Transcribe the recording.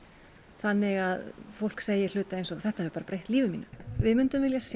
þannig að fólk segir hluti eins og bara þetta hefur breytt lífi mínu við myndum vilja sjá